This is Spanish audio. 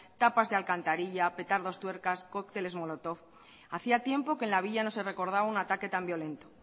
tapas de alcantarilla petardos tuercas cócteles molotov hacia tiempo que en la villa no se recordaba una ataque tan violento